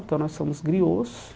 Então, nós somos griôs.